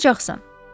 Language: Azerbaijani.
Buyuracaqsan.